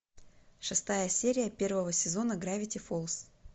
шестая серия первого сезона гравити фолз